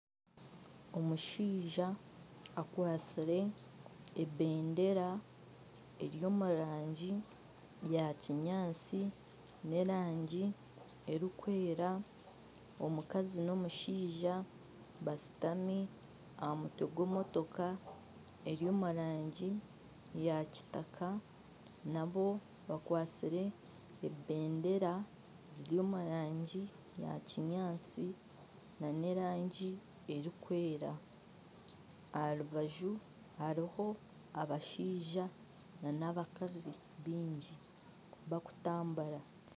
Omushaija akwatsire ebendera eri omu rangi yakinyaatsi n'erangi erikwera omukazi n'omushaija bashutami aha mutwe gw'emotoka eri omurangi ya kitaka nabo bakwatsire ebendera ziri omu rangi ya kinyaatsi nana erangi erikwera aha rubaju hariho abashaija nana abakazi baingi barikutambura